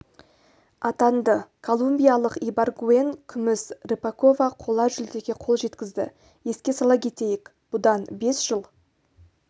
атанды колумбиялық ибаргуэн күміс рыпакова қола жүлдеге қол жеткізді еске сала кетейік бұдан бес жыл